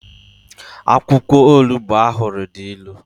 akwukwo Onugbo ohuru di ilu